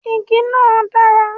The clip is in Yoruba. Igi náà dà?